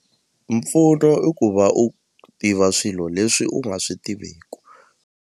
Mpfuno i ku va u tiva swilo leswi u nga swi tiveku.